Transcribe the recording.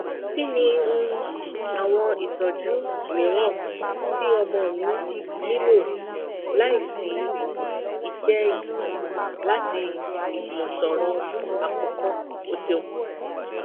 kini um awọn itọju miiran ti ọmọ mi nilo laisi iṣe yii lati ijumọsọrọ akọkọ o ṣeun